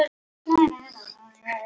Hann svarar ekki þegar hún spyr.